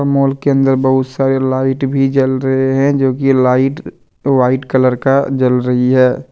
Mall के अंदर बहुत सारे लाइट भी जल रहे हैं जोकि लाइट व्हाइट कलर का जल रही है।